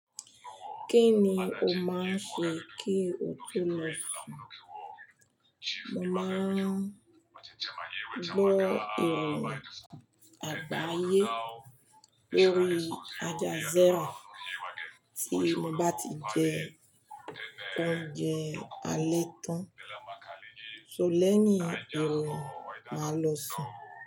Kí ni o máa ń ṣe kí o tó lọ sun? Mo máa ń gbọ́ iroyin àgbáyé lórí aljazeera tí mo bá ti jẹ oúnjẹ alétán. So lẹ́yin iroyin máa lọ sùn.